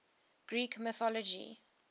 greek mythology